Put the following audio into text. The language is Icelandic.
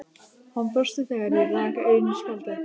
Hann brosti þegar ég rak augun í spjaldið.